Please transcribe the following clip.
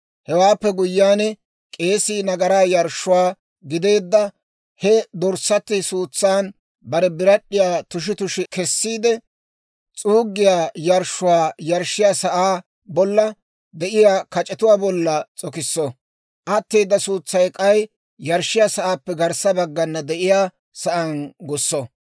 Hewaappe guyyiyaan, k'eesii nagaraa yarshshuwaa gideedda he dorssatti suutsan bare birad'd'iyaa tushi tushi kessiide, s'uuggiyaa yarshshuwaa yarshshiyaa sa'aa bolla de'iyaa kac'etuwaa bolla s'okisso; atteeda suutsaa k'ay yarshshiyaa sa'aappe garssa baggana de'iyaa sa'aan gusso.